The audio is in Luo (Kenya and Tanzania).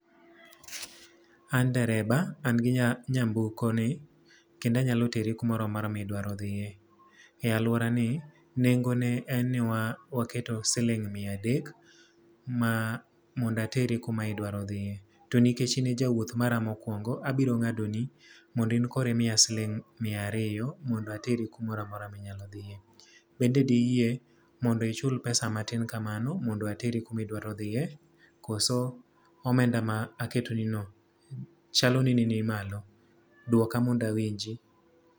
An dereba, an gi nya, nyamburko ni kendo anyalo teri kumoro amora ma idwaro dhie. E alworani, nengone en ni wa waketo siling mia adek ma mondo ateri kuma idwaro dhie. To nikech ine jawuoth mara mokwongo, abiro ngádoni, mondo in koro imiya siling mia ariyo mondo ateri kumoro amora ma inyalo dhie. Bende diyie mondo ichul pesa matin kamano mondo ateri kuma idwaro dhie, koso omenda ma aketonino chalo ni ni nimalo. Dwoka mondo awinji.